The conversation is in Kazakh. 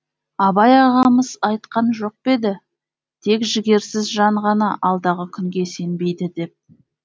абай ағамыз айтқан жоқ па еді тек жігерсіз жан ғана алдағы күнге сенбейді деп